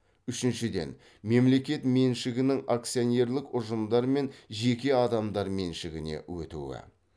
үшіншіден мемлекет меншігінің акционерлік ұжымдар мен жеке адамдар меншігіне өтуі